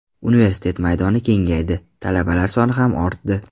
Universitet maydoni kengaydi, talabalar soni ham ortdi.